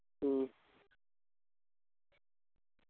ഉം